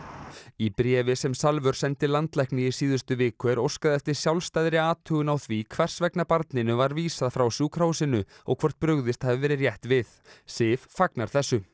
í bréfi sem Salvör sendi landlækni í síðustu viku er óskað eftir sjálfstæðri athugun á því hvers vegna barninu var vísað frá sjúkrahúsinu og hvort brugðist hafi verið rétt við Sif fagnar þessu